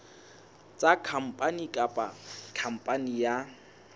sa khampani kapa khampani ya